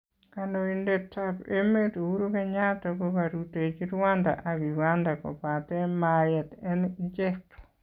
Kandoindetab emeet Uhuru Kenyatta kokaruteechi Rwanda ak Uganda kobaate mayeet en icheek